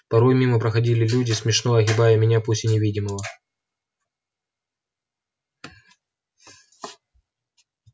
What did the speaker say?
порой мимо проходили люди смешно огибая меня пусть и невидимого